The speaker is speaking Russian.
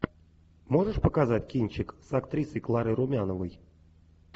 можешь показать кинчик с актрисой кларой румяновой